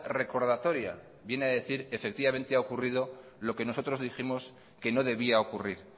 recordatoria que viene a decir efectivamente ha ocurrido lo que nosotros dijimos que no debía ocurrir